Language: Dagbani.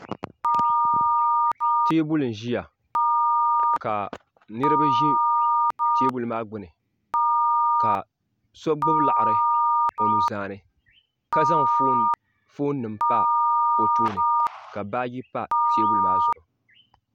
Teebuli n-ʒiya ka niriba ʒi teebuli maa gbuni ka so gbubi laɣiri o nuzaa ni ka zaŋ foonima pa o tooni ka baaji pa teebuli maa zuɣu.